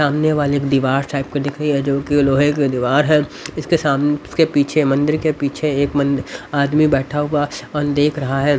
सामने वाले दीवार टाइप का दिखरी है जोकी लोहे की दीवार है इसके सामने इसके पीछे मंदिर के पीछे एक मंद आदमी बैठा हुआ और देख रहा हैं।